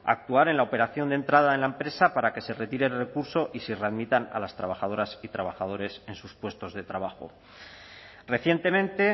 actuar en la operación de entrada en la empresa para que se retire el recurso y se readmitan a las trabajadoras y trabajadores en sus puestos de trabajo recientemente